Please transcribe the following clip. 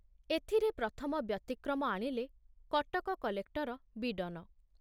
ଏଥିରେ ପ୍ରଥମ ବ୍ୟତିକ୍ରମ ଆଣିଲେ କଟକ କଲେକ୍ଟର ବୀଡନ ।